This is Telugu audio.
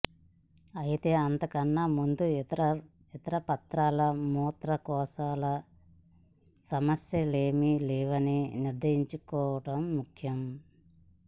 అయితే అంతకన్నా ముందు ఇతరత్రా మూత్రకోశ సమస్యలేవీ లేవని నిర్ధారించుకోవటం ముఖ్యం